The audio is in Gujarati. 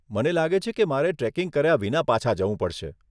મને લાગે છે કે મારે ટ્રેકિંગ કર્યા વિના પાછા જવું પડશે.